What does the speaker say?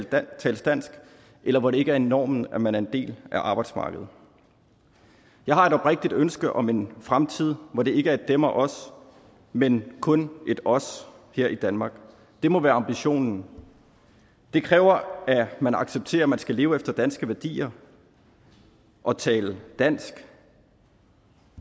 der tales dansk eller hvor det ikke er normen at man er en del af arbejdsmarkedet jeg har et oprigtigt ønske om en fremtid hvor det ikke er et dem og os men kun et os her i danmark det må være ambitionen det kræver at man accepterer at man skal leve efter danske værdier og tale dansk